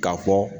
K'a fɔ